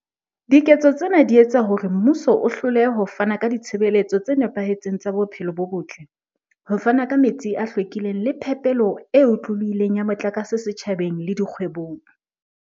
Diketso tsena di etsa hore mmuso o hlolehe ho fana ka ditshebeletso tse nepahetseng tsa bophelo bo botle, ho fana ka metsi a hlwekileng le phepelo e otlolohileng ya motlakase setjhabeng le dikgwebong.